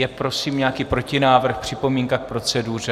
Je prosím nějaký protinávrh, připomínka k proceduře?